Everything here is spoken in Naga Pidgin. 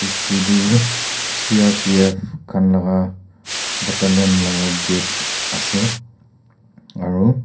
edu tu crpf khan laka batalan la gate ase aru.